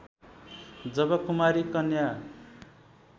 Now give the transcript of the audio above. जब कुमारी कन्या